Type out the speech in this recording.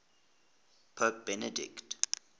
pope benedict